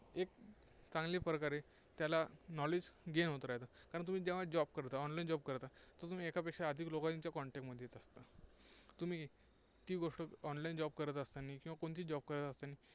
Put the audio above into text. एक चांगली प्रकारे त्याला knowledge gain होत राहतं. कारण जेव्हा तुम्ही job करता, online job करता, तर तुम्ही एकापेक्षा अधिक लोकांच्या contact मध्ये येत असता. तुम्ही ती गोष्ट online job करत असताना कोणतीही job करत असताना